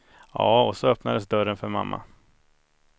Ja, och så öppnades dörren för mamma.